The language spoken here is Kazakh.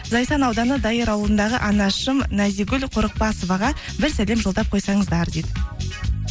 зайсан ауданы дайыр ауылындағы анашым назигуль қорықбасоваға бір сәлем жолдап қойсаңыздар дейді